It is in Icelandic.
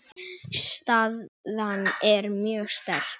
Staðan er mjög sterk.